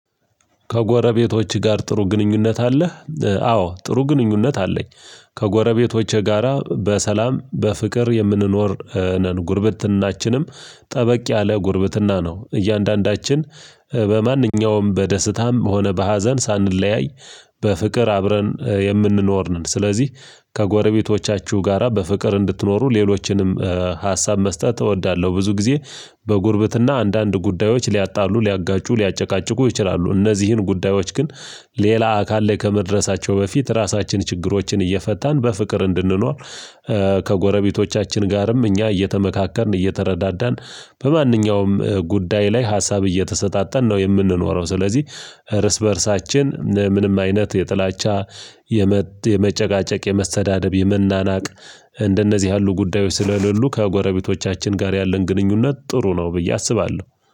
ከጎረቤቶች ጋር ጥሩ ግንኙነት አለህ? አዎ ጥሩ ግንኙነት አለኝ። ከጎረቤቶቼ ጋራ በሰላም በፍቅር የምንኖር ነን ጉርብትናችንም ጠበቅ ያለ ጉርብትና ነው። እያንዳንዳችን በማንኛውም በደስታም ሆነ በሀዘን ሳንለያይ በፍቅር አብረን የምንኖር ነን። ስለዚህ ከጎረቤቶቻችሁ ጋራ በፍቅር እንድትኖሩ ሌሎችንም ሀሳብ መስጠት እወዳለሁ። ብዙ ጊዜ በጉርብትና አንዳንድ ጉዳዮች ሊያጣሉ ሊያጋጩ ሊያጨቃጭቁ ይችላሉ። እነዚህን ጉዳዮች ግን ሌላ አካል ላይ ከመድረሳቸው በፊት ራሳችን ችግሮችን እየፈታን በፍቅር እንድንኖር። ከጎረቤቶቻችን ጋርም እኛ እየተመካከርን እየተረዳዳን በማንኛውም ጉዳይ ላይ ሀሳብ እየተሰጣጠን ነው የምንኖረው። ስለዚህ እርስ በእርሳችን ምንም አይነት የጥላቻ የመ የመጨቃጨቅ የመሰዳደብ የመናናቅ እንደነዚህ ያሉ ጉዳዮች ስለሌሉ ከጎረቤቶቻችን ጋር ያለን ግንኙነት ጥሩ ነው ብዬ አስባለሁ